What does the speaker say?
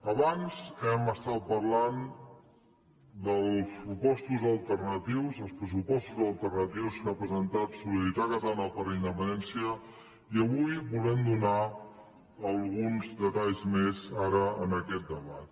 abans hem estat parlant dels pressupostos alternatius que ha presentat solidaritat catalana per la independència i avui en volem donar alguns detalls més ara en aquest debat